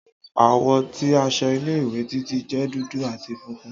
Àwọ̀ ti aṣọ ile-iwe Titi jẹ dudu ati funfun.